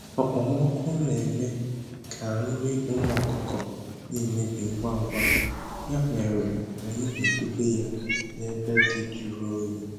Okpomọkụ na-eme ka nri ụmụ ọkụkọ na-emebi ngwa ngwa, ya mere anyị na-edobe ya n’ebe dị jụrụ oyi